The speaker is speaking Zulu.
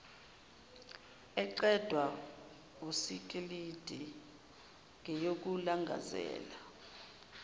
eqedwa wusikilidi ngeyokulangazela